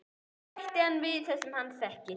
Engu bætt við það sem hann þekkir.